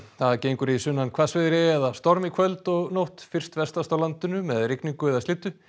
það gengur í sunnan hvassviðri eða storm í kvöld og nótt fyrst vestast á landinu með rigningu eða slyddu